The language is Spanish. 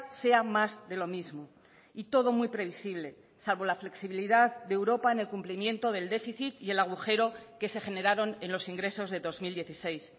sea más de lo mismo y todo muy previsible salvo la flexibilidad de europa en el cumplimiento del déficit y el agujero que se generaron en los ingresos de dos mil dieciséis